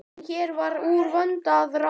En hér var úr vöndu að ráða.